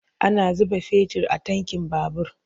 Ana zuba fetir a tankin babur.